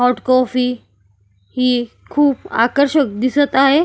Hot coffee ही खूप आकर्षक दिसत आहे.